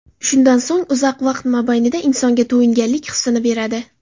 Shundan so‘ng uzoq vaqt mobaynida insonga to‘yinganlik hisini beradi.